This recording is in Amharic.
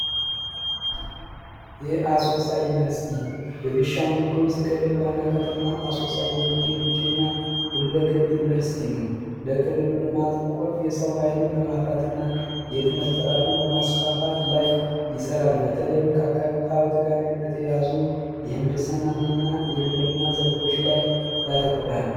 አሶሳ ዩኒቨርስቲ ቢሻንጉል ጉሙዝ ክልል ዋና ከተማ ብቸኛ ሁለገብ ዩንቨርስቲ ነው ለክልሉ ልማት ቁልፍ የሰው ኃይልን በማፍራትና የትምህርት ጥራትን በማስፋፋት ላይ በተለይ አካባቢ ጋር የተያያዙ የግብርና ምንህንድስና ዘርፎች ላይ ያተኩራን።